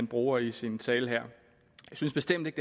bruger i sin tale her jeg synes bestemt ikke